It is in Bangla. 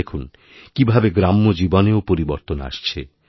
দেখুন কীভাবেগ্রাম্য জীবনেও পরিবর্তন আসছে